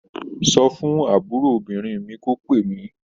Sọ fún àbúròbìnrin mi kó pè mí.